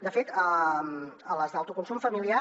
de fet a les d’autoconsum familiar